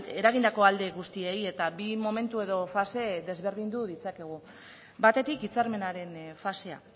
eragindako alde guztiei eta bi momentu edo fase desberdindu ditzakegu batetik hitzarmenaren fasea